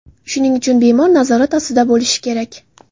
Shuning uchun bemor nazorat ostida bo‘lishi kerak.